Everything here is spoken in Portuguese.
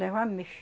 Leva ameixa.